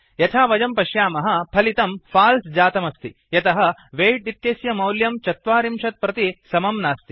यथा वयं पश्यामः फलितं फल्से जातमस्ति यतः वेय्ट् इत्यस्य मौल्यं ४० प्रति समं नास्ति